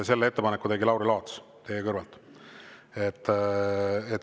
Selle ettepaneku tegi Lauri Laats teie kõrvalt.